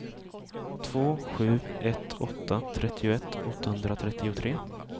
två sju ett åtta trettioett åttahundratrettiotre